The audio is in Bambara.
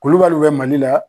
Kulubaliw bɛ mali la